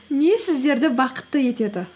не сіздерді бақытты етеді